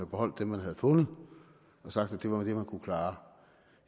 beholdt dem man havde fundet og sagt at det var det man kunne klare